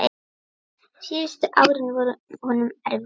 Síðustu árin voru honum erfið.